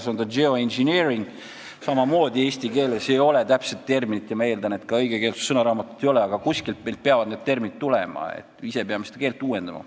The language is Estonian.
Selle kohta ei ole samamoodi eesti keeles täpset terminit – ma eeldan, et ka õigekeelsussõnaraamatus ei ole –, aga kuskilt peavad ju terminid tulema, me peame ise oma keelt uuendama.